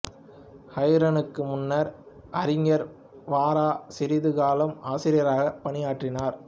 ஹரனுக்கு முன்னர் அறிஞர் வ ரா சிறிது காலம் ஆசிரியராகப் பணியாற்றினார்